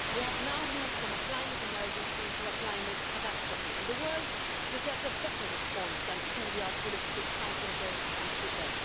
We have now moved from a climate emergency to a climate catastrophe, and the world deserves a better response than schoolyard political sniping games on Twitter.